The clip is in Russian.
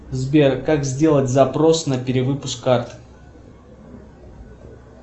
сбер как сделать запрос на перевыпуск карты